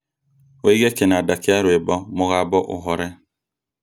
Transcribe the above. ũige kĩnanda kia rwĩmbo mũgambo ũhore